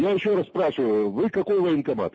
и ещё раз спрашиваю вы какой военкомат